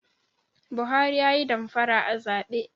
Buhari yayi damfara a zabe?